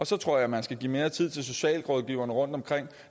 så tror jeg man skal give mere tid til socialrådgiverne rundtomkring